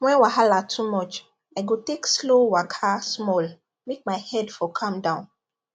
when wahala too much i go take slow waka small make my head for calm down